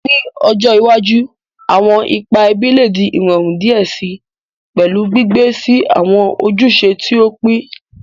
Ni ojo iwaju, awọn ipa ẹbi le di irọrun diẹ sii, pẹlu gbigbe si awọn ojuse ti o pin.